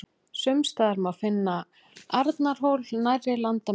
sums staðar má finna arnarhól nærri landamerkjum